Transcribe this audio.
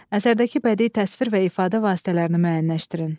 Əsərdəki bədii təsvir və ifadə vasitələrini müəyyənləşdirin.